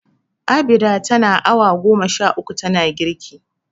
Abida tana awa goma sha uku tana girki.